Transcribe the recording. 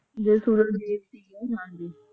ਹਾ ਜੀ